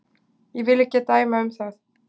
Ég vil ekki dæma um það.